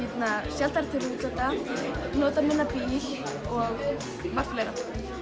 sjaldnar til útlanda notað minna bíl og margt fleira